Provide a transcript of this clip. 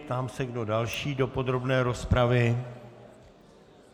Ptám se, kdo další do podrobné rozpravy.